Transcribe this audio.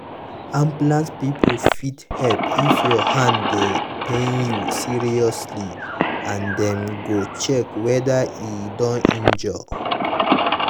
ambulance people fit help if your hand dey pain you seriously and dem go check whether e don injure.